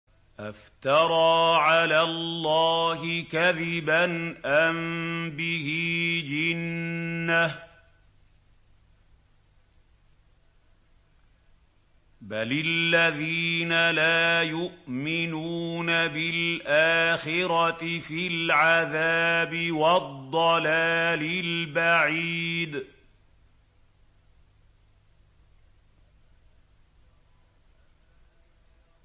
أَفْتَرَىٰ عَلَى اللَّهِ كَذِبًا أَم بِهِ جِنَّةٌ ۗ بَلِ الَّذِينَ لَا يُؤْمِنُونَ بِالْآخِرَةِ فِي الْعَذَابِ وَالضَّلَالِ الْبَعِيدِ